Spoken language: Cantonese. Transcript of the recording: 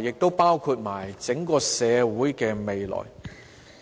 以及整個社會的未來。